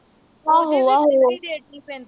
ਓਹਦੇ ਵੀ delivery rate ਨੀ ਪੈਂਦੇ